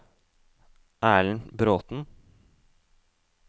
Erlend Bråten